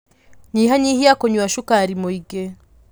Nyihanyihia kunyua cukari mũingĩ.